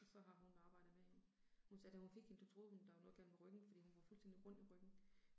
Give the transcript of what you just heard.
Og så har hun arbejdet med hende. Hun sagde da hun fik hende, da troede hun der var noget galt med ryggen, fordi hun var fuldstændig rund i ryggen